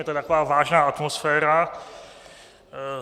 Je to taková vážná atmosféra.